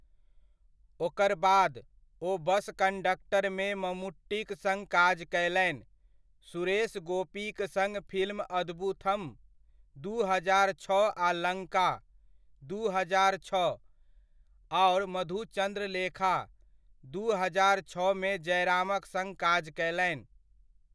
ओकर बाद, ओ बस कंडक्टरमे मम्मुट्टीक सङ काज कयलनि, सुरेश गोपीक सङ्ग फिल्म अदबुथम, दू हजार छओ आ लङ्का, दू हजार छओ, आओर मधुचन्द्रलेखा, दू हजार छओमे जयरामक सङ्ग काज कयलनि।